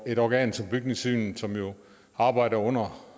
et organ som bygningssynet som jo arbejder under